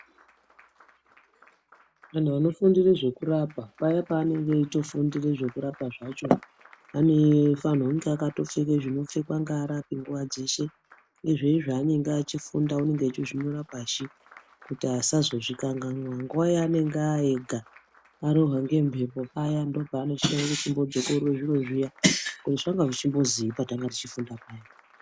Vantu vanofundire zvekurapa, paya paanenge eitofundira zvekurapa zvacho, anofanire kunge akatopfeke zvinopfekwa ngearapi nguva dzeshe uyezve, zveshe zvaanenge eifunda unonga einyore pashi, kuti asazozvikanganwa nguwa yaanenge aenga ,arohwa ngemhepo paya ndipo paanoti rekai ndechimbo dzokorore zviro zviya kuti zvanga zveimbozwii patange teifunda paya.